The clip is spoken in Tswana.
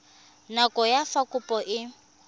nako ya fa kopo e